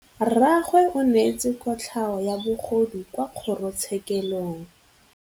Rragwe o neetswe kotlhaô ya bogodu kwa kgoro tshêkêlông.